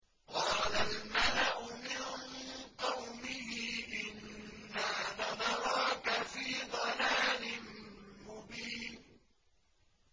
قَالَ الْمَلَأُ مِن قَوْمِهِ إِنَّا لَنَرَاكَ فِي ضَلَالٍ مُّبِينٍ